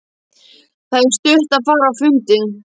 Það er stutt að fara á fundi.